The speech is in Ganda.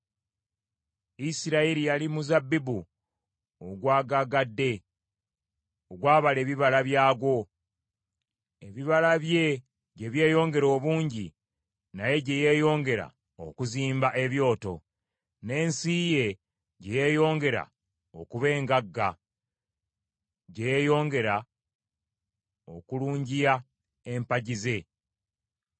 Isirayiri yali muzabbibu ogwagaagadde, ogwabala ebibala byagwo. Ebibala bye gye byeyongera obungi, naye gye yeeyongera okuzimba ebyoto; n’ensi ye gye yeeyongera okuba engagga, gye yeeyongera okulungiya empagi ze.